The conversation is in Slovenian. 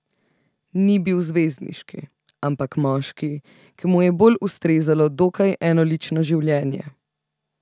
Ni bil zvezdniški, ampak moški, ki mu je bolj ustrezalo dokaj enolično življenje.